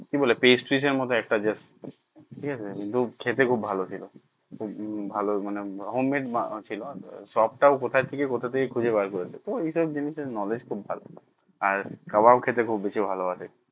কি বলে pastry এর মতো একটা just ঠিক আছে কিন্তু খেতে খুব ভালো ছিল খুব ভালো মানে home made বানাচ্ছিল সব টা ও কোথা থেকে কোথ থেকে খুঁজে বেরকরেছে ও ওই সব জিনিস এর knowledge খুব ভালো হ্যাঁ কাবাব খেতে খুব বেশি ভালোবাসে